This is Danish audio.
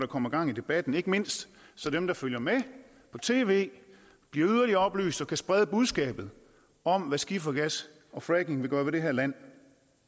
kommer gang i debatten ikke mindst så dem der følger med på tv bliver yderligere oplyst og kan sprede budskabet om hvad skifergas og fracking vil gøre ved det her land